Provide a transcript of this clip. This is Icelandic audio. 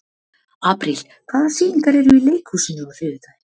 Apríl, hvaða sýningar eru í leikhúsinu á þriðjudaginn?